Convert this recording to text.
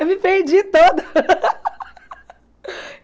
Eu me perdi toda!